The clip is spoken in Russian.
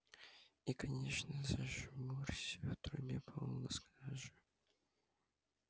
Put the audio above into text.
и конечно зажмурься в трубе полно сажи